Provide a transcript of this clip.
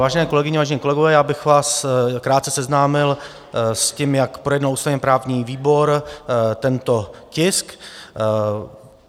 Vážené kolegyně, vážení kolegové, já bych vás krátce seznámil s tím, jak projednal ústavně-právní výbor tento tisk.